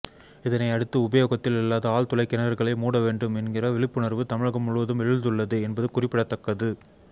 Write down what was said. இதனை அடுத்து உபயோகத்தில் இல்லாத ஆழ்துளை கிணறுகளை மூட வேண்டும் என்ற விழிப்புணர்வு தமிழகம் முழுவதும் எழுந்துள்ளது என்பது குறிப்பிடத்தக்கது